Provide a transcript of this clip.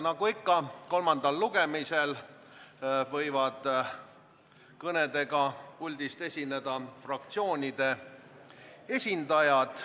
Nagu ikka, kolmandal lugemisel võivad kõnega puldist esineda fraktsioonide esindajad.